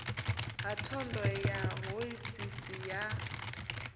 ha thondo ya hoisiso ya